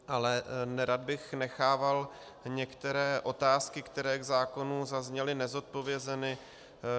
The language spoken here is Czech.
Ale nerad bych nechával některé otázky, které k zákonu zazněly, nezodpovězeny.